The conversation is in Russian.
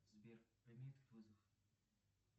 сбер прими этот вызов